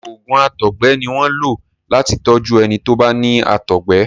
oògùn àtọgbẹ ní wón lo láti tọju ẹni tọ bá ní àtọgbẹ